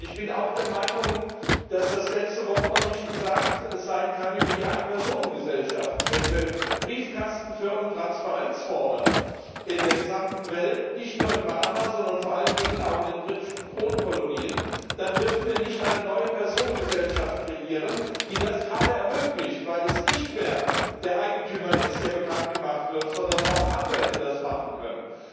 Ich bin auch der Meinung, dass das letzte Wort über die Ein Personen Gesellschaften noch nicht gesprochen sein kann. Wenn wir für Briefkastenfirmen Transparenz fordern in der gesamten Welt, nicht nur in Panama, sondern vor allen Dingen auch in den britischen Kronkolonien, dann dürfen wir nicht eine neue Personengesellschaft kreieren, die das gerade ermöglicht, weil es nicht mehr der Eigentümer ist, der bekannt gemacht wird, sondern auch Anwälte das machen können.